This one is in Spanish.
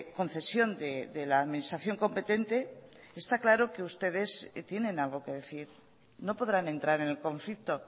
concesión de la administración competente está claro que ustedes tienen algo que decir no podrán entrar en el conflicto